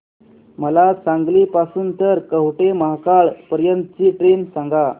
मला सांगली पासून तर कवठेमहांकाळ पर्यंत ची ट्रेन सांगा